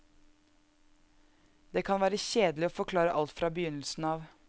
Det kan være kjedelig å forklare alt fra begynnelsen av.